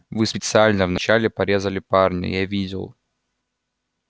вы специально вначале порезали парня я видел